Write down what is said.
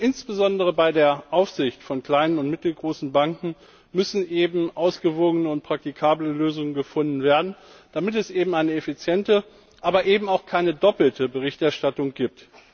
Insbesondere bei der Aufsicht von kleinen und mittelgroßen Banken müssen ausgewogene und praktikable Lösungen gefunden werden, damit es eine effiziente, aber eben auch keine doppelte Berichterstattung gibt.